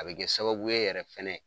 A bɛ kɛ sababu ye yɛrɛ fɛnɛ